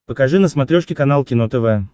покажи на смотрешке канал кино тв